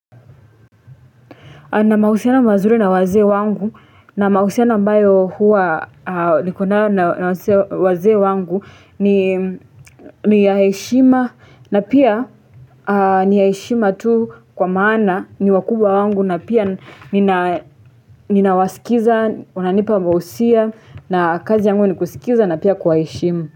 Na mahusiano mazuri na wazee wangu na mahusiano ambayo huwa niko nayo na wazee wangu ni ni ya heshima na pia ni ya heshima tu kwa maana ni wakubwa wangu na pia ninawasikiza unanipa mahusia na kazi yangu ni kusikiza na pia kuwaheshimu.